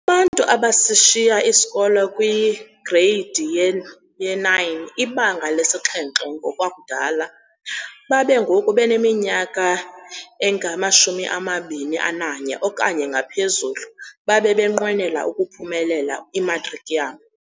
Abantu abasishiya isikolo kwi-Gredi ye-9, iBanga lesi-7 ngokwakudala, babe ngoku baneminyaka engama-21 okanye ngaphezulu, babe benqwenela ukuphumelela imatriki yabo.